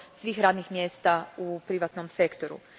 svih radnih mjesta u privatnom sektoru.